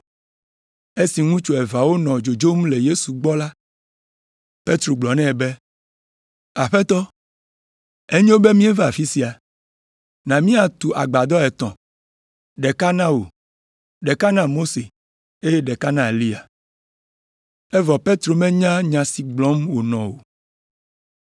Esi ŋutsu eveawo nɔ dzodzom le Yesu gbɔ la, Petro gblɔ nɛ be, “Aƒetɔ, enyo be míeva afi sia. Na míatu agbadɔ etɔ̃, ɖeka na wò, ɖeka na Mose eye ɖeka na Eliya.” (Evɔ Petro menya nya si gblɔm wònɔ o.)